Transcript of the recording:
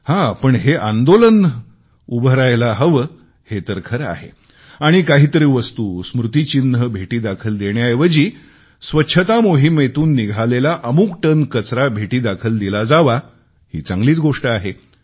मात्र हे आंदोलन उभे रहायला हवे हे तर खरे आहे आणि काहीतरी वस्तू स्मृतीचिन्ह भेटीदाखल देण्याऐवजी स्वच्छता मोहीमेतून निघालेला अमुक टन कचरा भेटी दाखल दिला जावा ही चांगलीच गोष्ट आहे